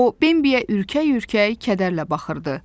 O Bembiyə ürkək-ürkək kədərlə baxırdı.